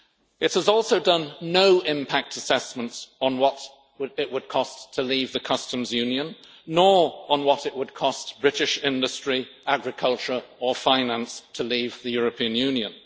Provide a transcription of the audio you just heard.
It has also done no impact assessments on what would it would cost to leave the Customs Union, nor on what it would cost British industry, agriculture or finance to leave the European Union.